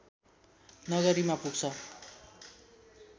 नगरीमा पुग्छ